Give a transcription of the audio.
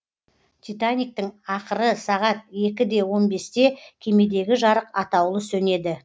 титаниктің ақыры сағат екі де он бесте кемедегі жарық атаулы сөнеді